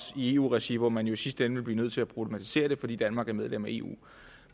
i eu regi hvor man jo i sidste ende ville blive nødt til at problematisere det fordi danmark er medlem af eu